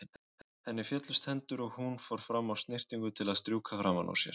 Henni féllust hendur og hún fór fram á snyrtingu til að strjúka framan úr sér.